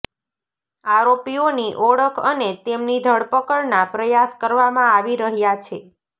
આરોપીઓની ઓળખ અને તેમની ધરપકડના પ્રયાસ કરવામાં આવી રહ્યા છે